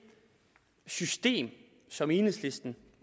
system som enhedslisten